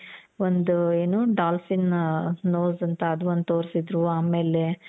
ಒಂದು ಏನು dolphin nose ಅಂತ ಅದು ಒಂದು ತೋರ್ಸಿದ್ರು ಆಮೇಲೆ